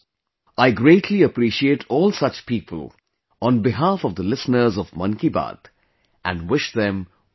I greatly appreciate all such people, on behalf of the listeners of 'Mann Ki Baat', and wish them all the best